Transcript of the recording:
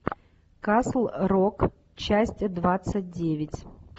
касл рок часть двадцать девять